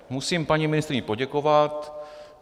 Musím paní ministryni poděkovat.